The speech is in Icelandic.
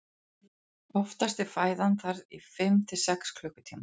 oftast er fæðan þar í fimm til sex klukkutíma